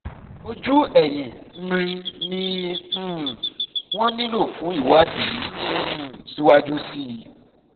ojú ẹ̀yìn mri ni um wọ́n nílò fún ìwádìí um síwájú sí i